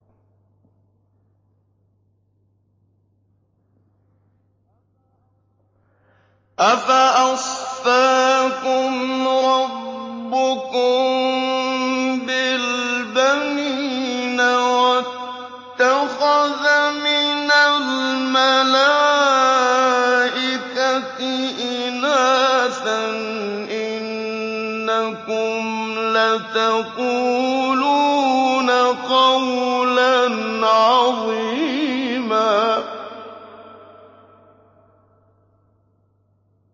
أَفَأَصْفَاكُمْ رَبُّكُم بِالْبَنِينَ وَاتَّخَذَ مِنَ الْمَلَائِكَةِ إِنَاثًا ۚ إِنَّكُمْ لَتَقُولُونَ قَوْلًا عَظِيمًا